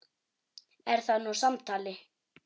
Er það nú samtal!